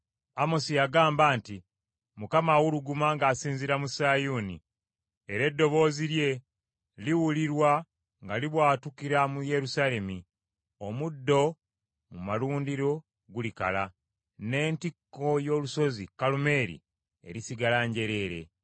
Amosi yagamba nti, “ Mukama awuluguma ng’asinziira mu Sayuuni, era eddoboozi lye liwulirwa nga libwatukira mu Yerusaalemi; omuddo mu malundiro gulikala n’entikko y’olusozi Kalumeeri erisigala njereere.”